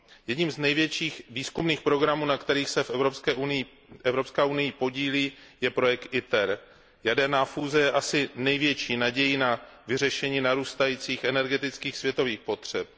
Jedním z největších výzkumných programů, na kterých se Evropská unie podílí, je projekt ITER. Jaderná fúze je asi největší nadějí na vyřešení narůstajících energetických světových potřeb.